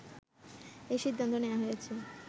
এ সিদ্ধান্ত নেয়া হয়েছে